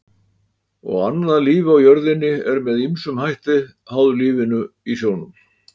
og annað líf á jörðinni er með ýmsum hætti háð lífinu í sjónum